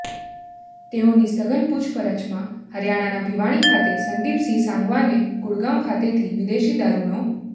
તેઓની સઘન પુછપરછમાં હરિયાણાના ભીવાણી ખાતે સંદીપિસંહ સાંગવાને ગુડગાવ ખાતેથી વિદેશી દારૂનો